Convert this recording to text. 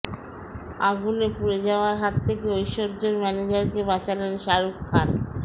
আগুনে পুড়ে যাওয়ার হাত থেকে ঐশ্বর্য্যের ম্যানেজারকে বাঁচালেন শাহরুখ খান